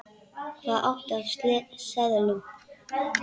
Hvað áttu af seðlum?